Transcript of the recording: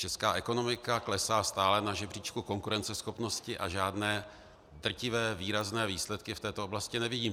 Česká ekonomika klesá stále na žebříčku konkurenceschopnosti a žádné drtivé výrazné výsledky v této oblasti nevidím.